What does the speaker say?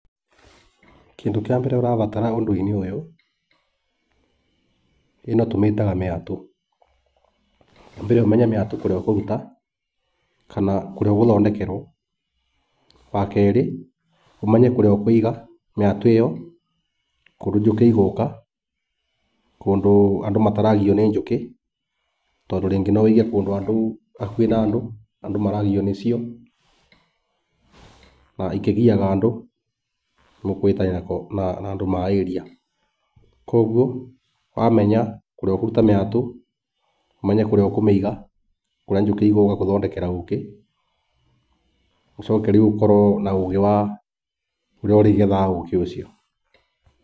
Kĩndũ kĩa mbere ũrabatara ũndũ-inĩ ũyũ ĩno tũmĩtaga mĩatũ. Wa mbere, ũmenye mĩatũ kũrĩa ũkũruta, kana kũrĩa ũgũthondekerwo. Wa kerĩ, ũmenye kũrĩa ũkũiga mĩatũ ĩyo kũndũ njũkĩ igũka, kũndũ andũ mataragio nĩ njũkĩ. Tondũ rĩngĩ no wĩige kũndũ andũ hakuhĩ na andũ, andũ maragio nĩ cio na ikĩgiaga andũ nĩ mũkũhĩtania na andũ ma area. Koguo wamenya kũrĩa ũkũra mĩatũ, ũmenye kũrĩa ũkũmĩiga kũrĩa njũkĩ igũka gũthondekera ũkĩ, ũcoke rĩu ũkorwo na ũgĩ wa ũrĩa ũrĩgethaga ũkĩ ũcio.